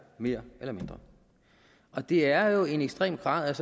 mere eller mindre og det er jo en ekstrem grad af